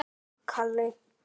Vildi hún það já?